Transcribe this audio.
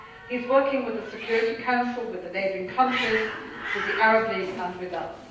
He is working with the Security Council, with the neighbouring countries, with the Arab League and with